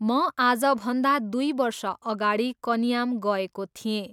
म आजभन्दा दुई वर्ष अगाडि कन्याम गएको थिएँ।